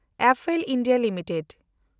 Apple India limited